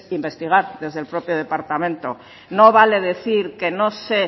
investigar desde el propio departamento no vale decir que no sé